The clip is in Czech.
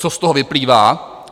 Co z toho vyplývá?